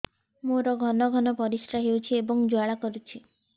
ମୋର ଘନ ଘନ ପରିଶ୍ରା ହେଉଛି ଏବଂ ଜ୍ୱାଳା କରୁଛି